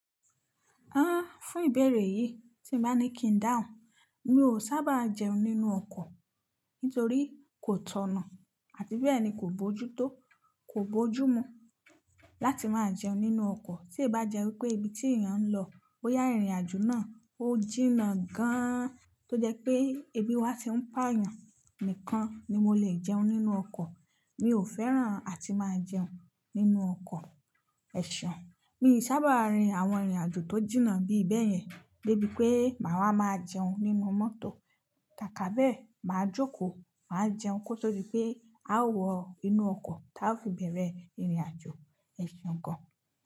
Ah! Fún ìbẹ̀rẹ̀ yìí tí mo bá ní kí n dáhùn, mi ò sábà jẹun nínú ọkọ̀ nítorí kò tọ̀nà àti bẹ́ẹ̀ ni kò bójú tó, kò bójú mú láti máa jẹun nínú ọkọ̀. Tí ì bá jẹ́ wípé ibi tí èèyàn ń lọ ó yá ìrìnàjò náà, ó jìnnà gan-an tó jẹ́ pé ebi wa tí ń pàa èèyàn nìkan ni mo lè jẹun nínú ọkọ̀. Mi ò fẹ́ràn àti máa jẹun nínú ọkọ̀ ẹ̀ṣe. Mi ò sábà rin àwọn ìrìnàjò tó jìnnà bí ìbẹ́yẹn débi pé màá máa jẹun nínú mọ́tò. Kàká bẹ́ẹ̀ máa jókòó, máa jẹun kó tó di pé a ó wọ inú ọkọ̀ tí a fi bẹ̀rẹ̀ ìrìnàjò ẹ̀ṣe kan.